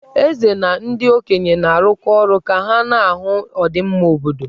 Eze na ndị okenye na-arụkọ ọrụ ka ha na-ahụ ọdịmma obodo.